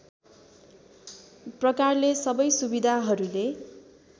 प्रकारले सबै सुविधाहरूले